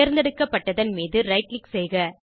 தெர்ந்தெடுக்கப்பட்டதன் மீது right click செய்க